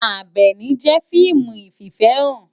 Abèni jé fiimú ififèhán